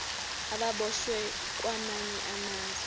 ababoshwe kwamanye amazwe